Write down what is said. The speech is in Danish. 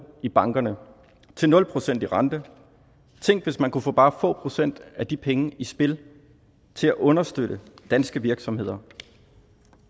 i bankerne til nul procent i rente tænk hvis man kunne få bare få procent af de penge i spil til at understøtte danske virksomheder